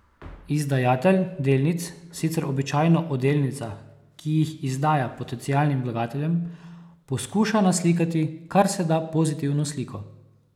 Izdajatelj delnic sicer običajno o delnicah, ki jih izdaja potencialnim vlagateljem, poskuša naslikati kar se da pozitivno sliko.